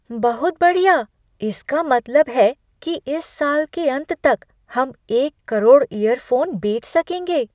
बहुत बढ़िया! इसका मतलब है कि इस साल के अंत तक हम एक करोड़ इयरफ़ोन बेच सकेंगे!